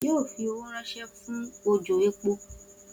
O yoo fi owo ranṣẹ fun ojò epo